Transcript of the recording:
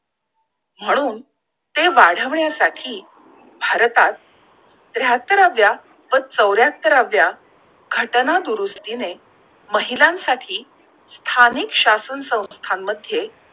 म्हणून ते वाढविण्या साठी भारतात त्र्याहात्तराव्या व चौर्यात्तराव्या घटना दुरुस्तीने महिलांसाठी स्थानिक शासन संस्थां मध्ये